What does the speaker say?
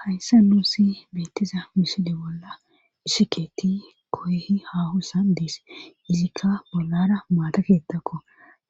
Hayssa nuusi beettiza miside bolla isikeeti koyhi hahu sa dees izikka bollara maata keettakko